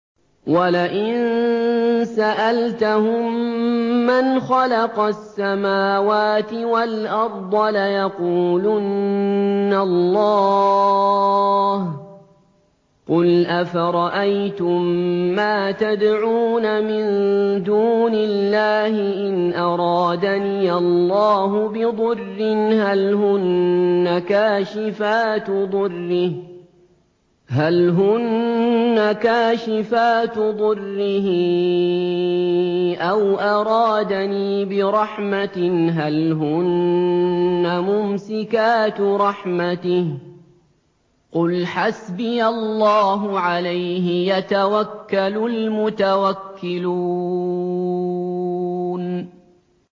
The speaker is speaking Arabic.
وَلَئِن سَأَلْتَهُم مَّنْ خَلَقَ السَّمَاوَاتِ وَالْأَرْضَ لَيَقُولُنَّ اللَّهُ ۚ قُلْ أَفَرَأَيْتُم مَّا تَدْعُونَ مِن دُونِ اللَّهِ إِنْ أَرَادَنِيَ اللَّهُ بِضُرٍّ هَلْ هُنَّ كَاشِفَاتُ ضُرِّهِ أَوْ أَرَادَنِي بِرَحْمَةٍ هَلْ هُنَّ مُمْسِكَاتُ رَحْمَتِهِ ۚ قُلْ حَسْبِيَ اللَّهُ ۖ عَلَيْهِ يَتَوَكَّلُ الْمُتَوَكِّلُونَ